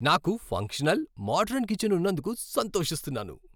నాకు functional, modern kitchen ఉన్నందుకు సంతోషిస్తున్నాను